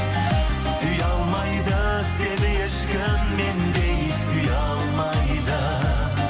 сүйе алмайды сені ешкім мендей сүйе алмайды